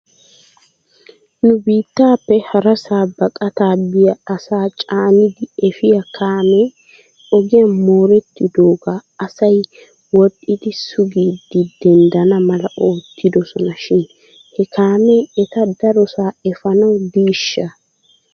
Nu biittappe harasaa baqataa biyaa asaa caanidi efiyaa kaammee ogiyan moorettidaagaa asay wodhdhidi sugidi denddana mala ottidosona shin he kaamee eta darosaa efanawu diishsha?